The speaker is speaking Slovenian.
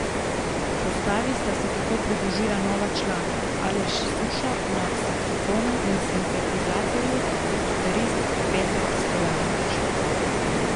Postavi sta se tako pridružila nova člana Aleš Suša na saksofonu in sintetizatorju ter kitarist Petar Stojanović.